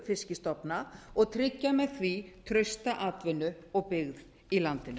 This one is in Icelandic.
fiskstofna og tryggja með því trausta atvinnu og byggð í landinu